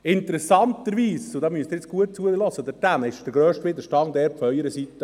Interessanterweise – nun müssen Sie, hier drüben, gut zuhören – kam der grösste Widerstand von Ihrer Seite.